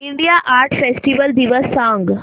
India art festival दिवस सांग